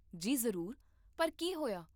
ਜੀ ਜ਼ਰੂਰ, ਪਰ ਕੀ ਹੋਇਆ?